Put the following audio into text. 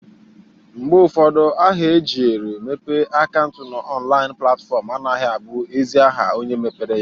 Mgbe ụfọdụ aha e jiere mepe akaụnt n'ọnlaịn platfọm anagha abụ ezi aha onye mepere ya.